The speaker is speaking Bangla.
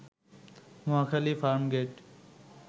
মহাখালী, ফার্মগেইট